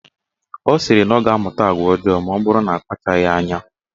Ọ sịrị na ọ ga-amụta agwa ọjọọ maọbụrụ na akpachaghi anya.